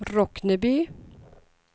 Rockneby